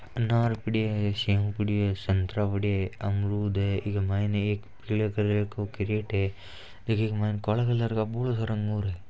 अनार पड़ी है सेब पड़ी है संतरा पड़ा है अमरुद है ऐके मायने एक पीले कलर का वो क्रट है इके मायने काले कलर का भोळा सारा अंगूर है।